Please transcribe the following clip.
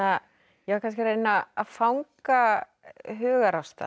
ég var kannski að reyna að fanga hugarástand